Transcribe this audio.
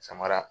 Samara